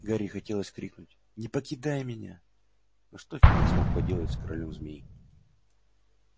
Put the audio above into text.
гарри хотелось крикнуть не покидай меня но что феникс мог поделать с королём змей